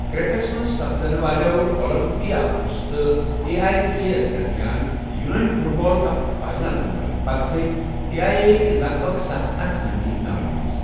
کرٛیٹس منٛز سپدٕنہٕ والٮ۪و اولمپِیاکوس تہٕ اے ایی کے یس درمیان یوٗنٲنی فُٹ بال کَپُک فاینل مۄکلٕنہٕ پتہٕ کٔھتۍ اے ایی كے ہكۍ لگ بھگ ستھَ ہَتھ حٲمی ناوِ منٛزٕ